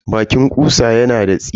Baƙin ƙutsa yana da tsini.